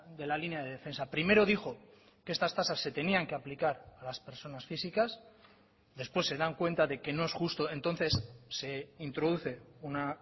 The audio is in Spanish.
de la línea de defensa primero dijo que estas tasas se tenían que aplicar a las personas físicas después se dan cuenta de que no es justo entonces se introduce una